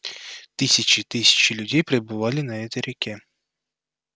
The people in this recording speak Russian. тысячи и тысячи людей перебывали на этой реке